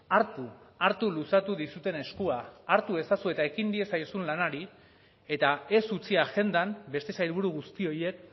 hartu hartu luzatu dizuten eskua hartu ezazue eta ekin diezaiozun lanari eta ez utzi agendan beste sailburu guzti horiek